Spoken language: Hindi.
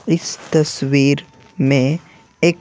इस तस वीर में एक--